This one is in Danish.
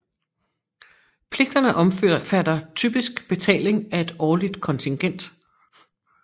Pligterne omfatter typisk betaling af et årligt kontingent